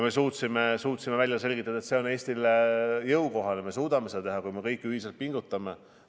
Me suutsime välja selgitada, et see on Eestile jõukohane, et me suudame seda teha, kui me kõik ühiselt pingutame.